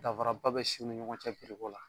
Dafara ba be siw ni ɲɔgɔn cɛ ko la.